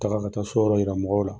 A taara ka taa so yɔrɔ yira mɔgɔw la